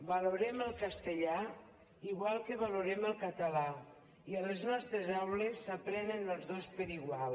valorem el castellà igual que valorem el català i a les nostres aules s’aprenen els dos per igual